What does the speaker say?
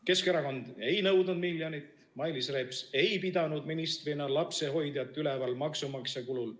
Keskerakond ei nõudnud miljonit, Mailis Reps ei pidanud ministrina lapsehoidjat üleval maksumaksja kulul.